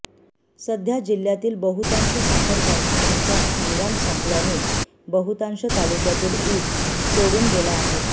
सध्या जिल्ह्यातील बहुतांश साखर कारखान्यांचा हंगाम संपल्याने बहुतांश तालुक्यातील ऊस तोडून गेला आहे